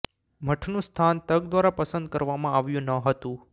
મઠનું સ્થાન તક દ્વારા પસંદ કરવામાં આવ્યું ન હતું